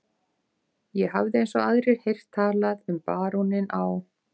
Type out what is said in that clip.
. ég hafði eins og aðrir heyrt talað um baróninn á